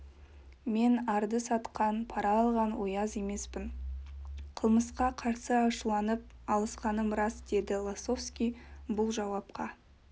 мен арды сатқан пара алған ояз емеспін қылмысқа қарсы ашуланып алысқаным рас деді лосовский бұл жауапқа